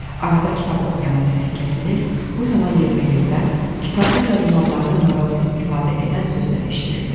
Arada kitab oxuyanın səsi kəsilir, bu zaman yerbəyerdən, kitabda yazılanlardan narazılıq ifadə edən sözlər eşidilirdi.